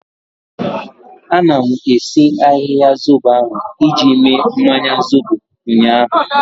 Anọ m esi ahịhịa zobo ahu iji mee mmanya zobo ụnyaahụ